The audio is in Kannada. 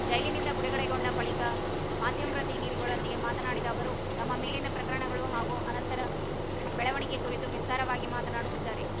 ಜೈಲಿನಿಂದ ಬಿಡುಗಡೆಗೊಂಡ ಬಳಿಕ ಮಾಧ್ಯಮ್ರ ದಿನಿಧಿಗಳೊಂದಿಗೆ ಮಾತನಾಡಿದ ಅವರು ತಮ್ಮ ಮೇಲಿನ ಪ್ರಕರಣಗಳು ಹಾಗೂ ಅನಂತರ ಬೆಳವಣಿಗೆ ಕುರಿತು ವಿಸ್ತಾರವಾಗಿ ಮಾತನಾಡಿದ್ದಾರೆ